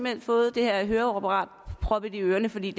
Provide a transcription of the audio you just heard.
har fået det her høreapparat proppet i ørerne fordi